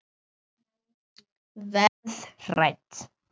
Verð hrædd.